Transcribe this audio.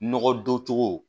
Nɔgɔ don cogo